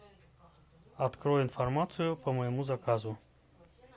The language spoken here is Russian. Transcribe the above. открой информацию по моему заказу